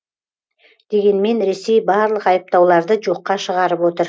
дегенмен ресей барлық айыптауларды жоққа шығарып отыр